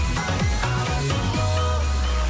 алашұлы